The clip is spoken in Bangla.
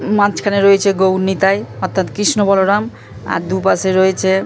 মাঝখানে রয়েছে গৌড় নিতাই অর্থাৎ কৃষ্ণ বলরাম আর দুপাশে রয়েছে--